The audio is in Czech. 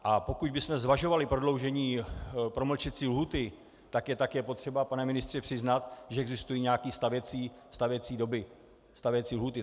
A pokud bychom zvažovali prodloužení promlčecí lhůty, tak je také potřeba, pane ministře, přiznat, že existují nějaké stavěcí doby, stavěcí lhůty.